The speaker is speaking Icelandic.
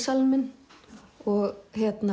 grænmetissalinn minn og